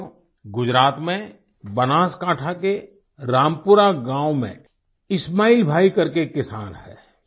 साथियो गुजरात में बनासकांठा के रामपुरा गाँव में इस्माइल भाई करके एक किसान है